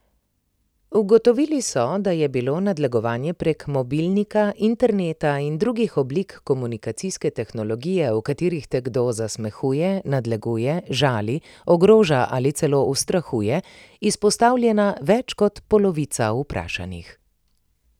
Ugotovili so, da je bilo nadlegovanju prek mobilnika, interneta in drugih oblik komunikacijske tehnologije, v katerih te kdo zasmehuje, nadleguje, žali, ogroža ali celo ustrahuje, izpostavljena več kot polovica vprašanih.